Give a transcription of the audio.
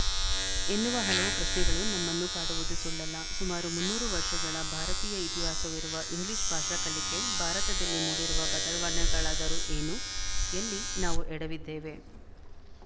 ಎನ್ನುವ ಹಲವು ಪ್ರಶ್ನೆಗಳು ನಮ್ಮನ್ನು ಕಾಡುವುದು ಸುಳ್ಳಲ್ಲ ಸುಮಾರು ಮುನ್ನೂರು ವರ್ಶಗಳ ಭಾರತೀಯ ಇತಿಹಾಸವಿರುವ ಇಂಗ್ಲಿಶು ಭಾಷಾ ಕಲಿಕೆ ಭಾರತದಲ್ಲಿ ಮೂಡಿರುವ ಬದಲಾವಣೆಗಳಾದರೂ ಏನು ಎಲ್ಲಿ ನಾವು ಎಡವಿದ್ದೇವೆ